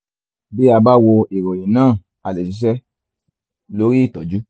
bí a bá wo ìròyìn náà a lè ṣiṣẹ́ lórí ìtọ́jú